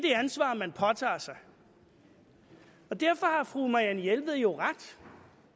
ansvar man påtager sig derfor har fru marianne jelved jo ret i